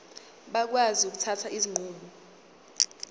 bakwazi ukuthatha izinqumo